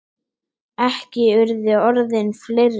Ekki urðu orðin fleiri.